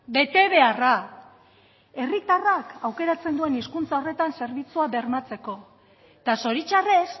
bete beharra herritarrak aukeratzen duen hizkuntza horretan zerbitzua bermatzeko eta zoritxarrez